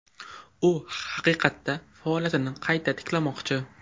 U haqiqatda faoliyatini qayta tiklamoqchi.